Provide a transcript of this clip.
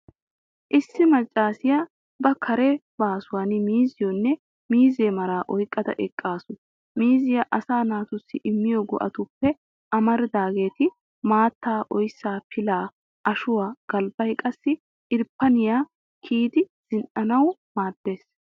Issi maccaasiyaa ba kare baasuwan miizziyoonne miizzee maraa oyqqada eqqaasu. Miizzay asaa naatussi immiyoo go'atuppe amaridaageeti, maattaa, oyssaa, pilaa, ashuwaa, galbbay qassi irppane kiyidi zin''anawu maaddees.